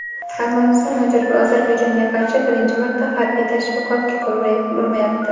Armaniston Ozarbayjonga qarshi birinchi marta harbiy tashviqotga qo‘l urmayapti.